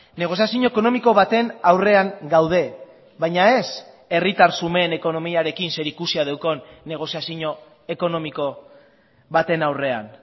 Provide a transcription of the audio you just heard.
negoziazio ekonomiko baten aurrean gaude baina ez herritar xumeen ekonomiarekin zerikusia daukan negoziazio ekonomiko baten aurrean